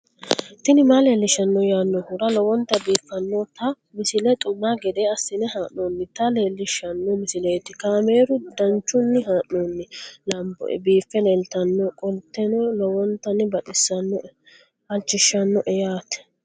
tini maa leelishshanno yaannohura lowonta biiffanota misile xuma gede assine haa'noonnita leellishshanno misileeti kaameru danchunni haa'noonni lamboe biiffe leeeltannoqolten lowonta baxissannoe halchishshanno yaate